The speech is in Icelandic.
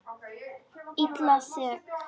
Illa sek.